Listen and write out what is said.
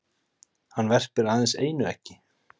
Hann verpir aðeins einu eggi.